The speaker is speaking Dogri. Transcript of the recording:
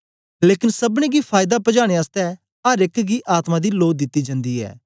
लेकन सबनी गी फायदा पजाने आसतै अर एक गी आत्मा दी लो दित्ती जंदी ऐ